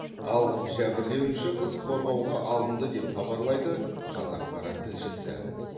ал жәбірленуші қыз қорғауға алынды деп хабарлайды қазақпарат тілшісі